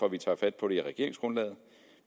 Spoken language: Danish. at vi tager fat på det i regeringsgrundlaget